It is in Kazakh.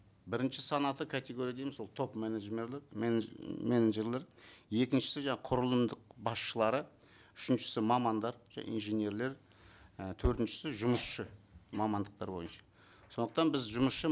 бірінші санатты категория дейміз ол топ менеджерлер екіншісі жаңа құрылымдық басшылары үшіншісі мамандар және инженерлер і төртіншісі жұмысшы мамандықтар бойынша сондықтан біз жұмысшы